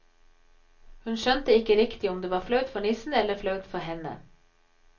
Hun skjønte ikke riktig om det var flaut for nissen eller flaut for henne.